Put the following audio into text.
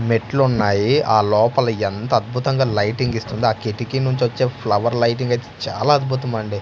మెట్లు ఉన్నాయి ఆ లోపల ఎంత అద్భుతంగా లైటింగ్ ఇస్తుందో ఆ కిటికీ నుంచి వచ్చే ఫ్లవర్ లైటింగ్ అయితే చాలా అద్భుతం అండి.